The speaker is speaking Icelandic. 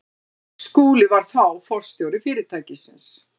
Skúli var þá forstjóri fyrirtækisins.